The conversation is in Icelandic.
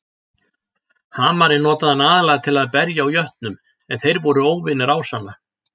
Hamarinn notaði hann aðallega til að berja á jötnum en þeir voru óvinir ásanna.